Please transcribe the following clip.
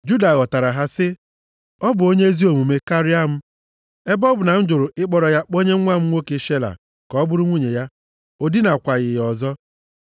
Juda ghọtara ha, sị, “Ọ bụ onye ezi omume karịa m, ebe ọ bụ na m jụrụ ịkpọrọ ya kpọnye nwa m nwoke Shela ka ọ bụrụ nwunye ya.” O dinakwaghị ya ọzọ.